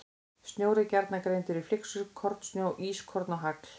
Snjór er gjarnan greindur í flyksur, kornsnjó, ískorn og hagl.